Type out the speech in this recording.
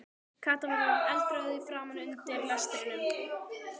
Kata var orðin eldrjóð í framan undir lestrinum.